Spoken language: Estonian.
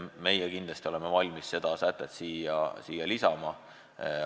Meie kindlasti oleme valmis selle sätte siia lisama.